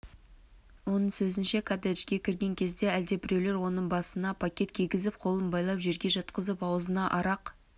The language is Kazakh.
оның сөзінше коттеджге кірген кезде әлдебіреулер оның басына пакет кигізіп қолын байлап жерге жатқызып аузына арақ